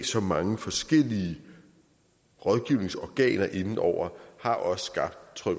så mange forskellige rådgivningsorganer inde over har også skabt tror